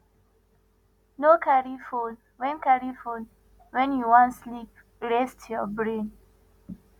no carry phone when carry phone when you wan sleep rest your brain